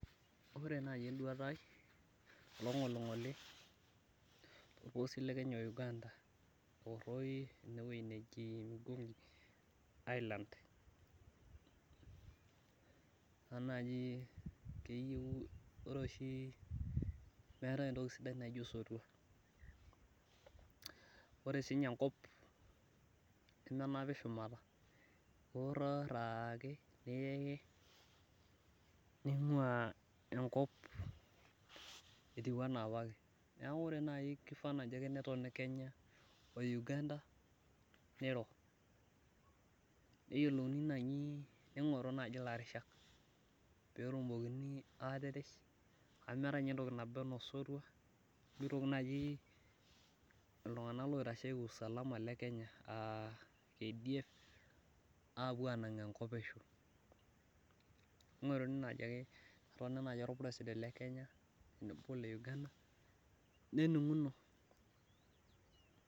ore naaji eduata ai toloing'oling'oli to losho lekenya we le uganda omigingo island, ore oshi meetae entoki sidai naijio osotua ,ore sii ninye enkop nemenapi shumata, iwororo ake ningua etiu enaa apake neeku keyieu naaji netoni ning'oruni naaji ilarishak pee etumokini naaji atirish, amu meeta entoki naba enaa osotua , iltunganak loitsheki usalama enaa kdf, apuo anang enkop pesho neeku ketoni naaji ake olpuresiden lekenya we leuganda nenung'uno.